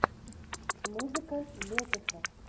музыка летеха